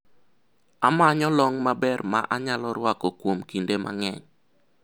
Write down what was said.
amanyo long maber ma anyalo rwako kuom kinde mang'eny